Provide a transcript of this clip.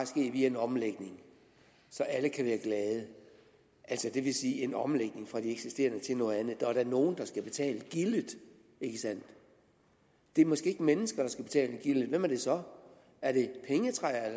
ske via en omlægning så alle kan være glade altså det vil sige en omlægning fra det eksisterende til noget andet der er da nogen der skal betale gildet ikke sandt det er måske ikke mennesker der skal betale gildet men hvem er det så er det pengetræer